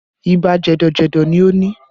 Ibà jẹ̀dọ̀ jẹ̀dọ̀ ni o ni